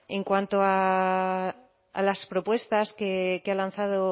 en cuanto a las propuestas que ha lanzado